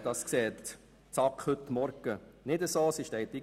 Das hat die SAK heute Vormittag nicht so gesehen.